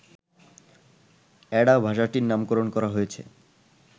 Ada ভাষাটির নামকরণ করা হয়েছে